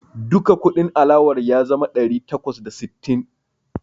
Duka kudin alawar ya zama ɗari takwas da sittin.